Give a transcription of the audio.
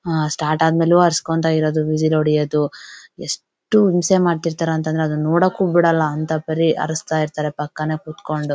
ಆಹ್ಹ್ start ಆದ್ಮೇಲೆ ಇರೋದು whistle ಹೊಡೆಯೋದು ಎಷ್ಟು ಹಿಂಸೆ ಮಾಡ್ತಿರ್ತಾರೆ ಅಂತಂದ್ರೆ ಅದನ್ನ ನೋಡೋಕು ಬಿಡಲ್ಲ ಅಂತ ಪರಿ ಅರಿಚ್ತಾ ಇರ್ತರೆ ಪಕ್ಕನೆ ಕುತ್ಕೊಂಡು.